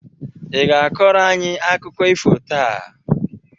Ị ga-akọrọ anyị akụkọ ifo taa?